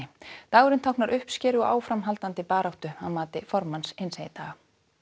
dagurinn táknar uppskeru og áframhaldandi baráttu að mati formanns hinsegin daga